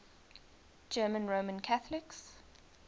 german roman catholics